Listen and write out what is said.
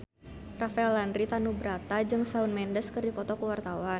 Rafael Landry Tanubrata jeung Shawn Mendes keur dipoto ku wartawan